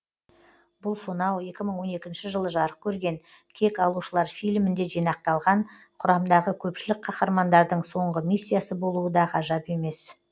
бұл сонау екі мың он екінші жылы жарық көрген кек алушылар фильмінде жинақталған құрамдағы көпшілік қаһармандардың соңғы миссиясы болуы да ғажап емес